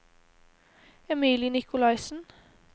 Emilie Nicolaysen